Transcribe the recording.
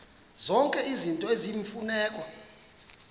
zonke izinto eziyimfuneko